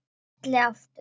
Smelli aftur.